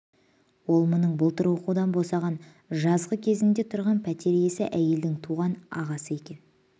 ол мұның былтыр оқудан босаған жазғы кезінде тұрған пәтер иесі әйелдің туған ағасы екен